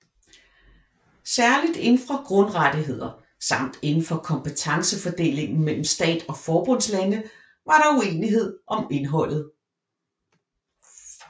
Særligt indenfor grundrettigheder samt indenfor kompetencefordelingen mellem stat og forbundslande var der uenighed om indholdet